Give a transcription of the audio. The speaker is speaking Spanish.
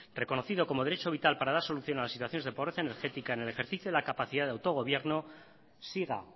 reconocido como derecho vital para dar solución a las situaciones de pobre energética en el ejercicio de la capacidad de autogobierno siga